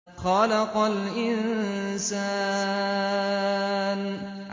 خَلَقَ الْإِنسَانَ